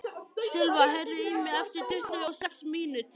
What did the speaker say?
Silva, heyrðu í mér eftir tuttugu og sex mínútur.